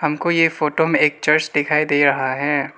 हम को ये फोटो में एक चर्च दिखाई दे रहा है।